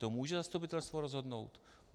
To může zastupitelstvo rozhodnout.